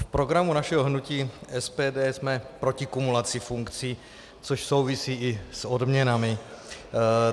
V programu našeho hnutí SPD jsme proti kumulaci funkcí, což souvisí i s odměnami.